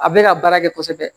A bɛ ka baara kɛ kosɛbɛ